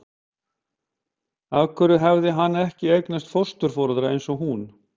Út af hverju hafði hann ekki eignast fósturforeldra eins og hún?